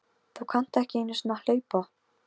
Þú kannt ekki einu sinni að hlaupa